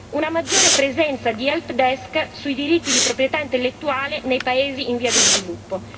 una maggiore presenza di help desk sui diritti di proprietà intellettuale nei paesi in via di sviluppo.